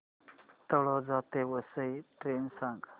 तळोजा ते वसई ट्रेन सांग